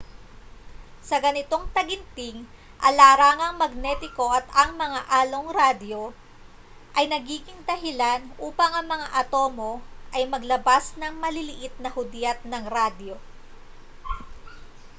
sa ganitong taginting ang larangang magnetiko at ang mga along-radyo ay nagiging dahilan upang ang mga atomo ay maglabas ng maliliit na hudyat ng radyo